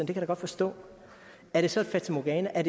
kan jeg godt forstå er det så et fatamorgana